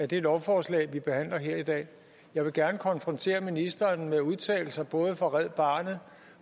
det lovforslag vi behandler her i dag jeg vil gerne konfrontere ministeren med udtalelser fra både red barnet